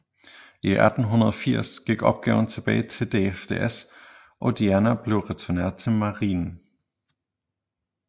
I 1880 gik opgaven tilbage til DFDS og Diana blev returneret til Marinen